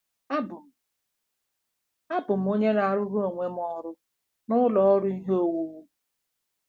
“Abụ m “Abụ m onye na-arụrụ onwe m ọrụ n'ụlọ ọrụ ihe owuwu.